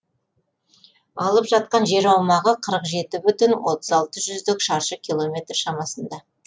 алып жатқан жер аумағы қырық жеті бүтін отыз алты жүздік шаршы километр шамасында